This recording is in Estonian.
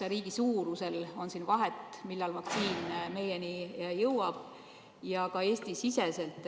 Kas riigi suurus mängib rolli, millal vaktsiin meieni jõuab?